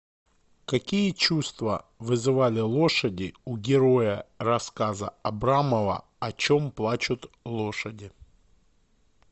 какие чувства вызывали лошади у героя рассказа абрамова о чем плачут лошади